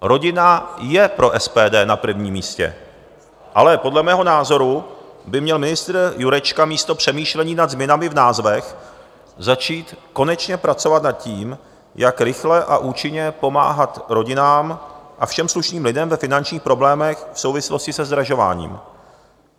Rodina je pro SPD na prvním místě, ale podle mého názoru by měl ministr Jurečka místo přemýšlení nad změnami v názvech začít konečně pracovat nad tím, jak rychle a účinně pomáhat rodinám a všem slušným lidem ve finančních problémech v souvislosti se zdražováním.